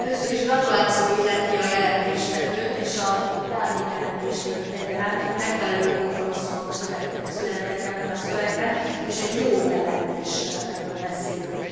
Először is gratuláció illeti a jelentéstevőt és az árnyék jelentéstevőt egyaránt, hogy megfelelő kompromisszumok születtek ebben a szövegben és egy jó jelentésről beszélünk.